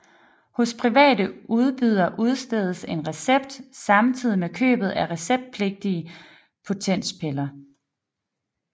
Hos private udbydere udstedes en recept samtidig med købet af receptpligtige potenspiller